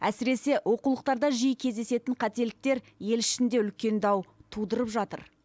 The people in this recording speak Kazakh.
әсіресе оқулықтарда жиі кездесетін қателіктер ел ішінде үлкен дау тудырып жатыр